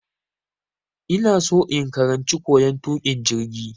Ina so in karanci koyan tukin jirgi.